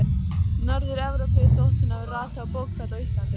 Norður-Evrópu þótt hún hafi ratað á bókfell á Íslandi.